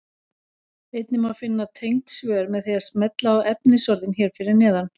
Einnig má finna tengd svör með því að smella á efnisorðin hér fyrir neðan.